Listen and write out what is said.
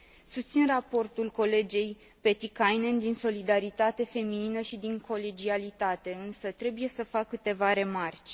Susțin raportul colegei Pietikäinen din solidaritate feminină și din colegialitate, însă trebuie să fac câteva remarci.